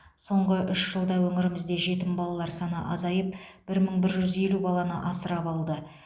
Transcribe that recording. соңғы үш жылда өңірімізде жетім балалар саны азайып бір мың бір жүз елу баланы асырап алды